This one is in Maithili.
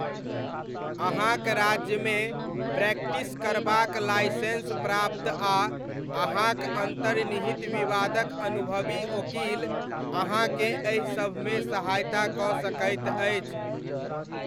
अहाँक राज्यमे प्रैक्टिस करबाक लाइसेंस प्राप्त आ अहाँक अन्तर्निहित विवादक अनुभवी ओकील अहाँकेँ एहि सभमे सहायता कऽ सकैत अछि।